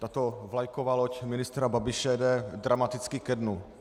Tato vlajková loď ministra Babiše jde dramaticky ke dnu.